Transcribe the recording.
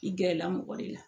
I gɛrɛla mɔgɔ de la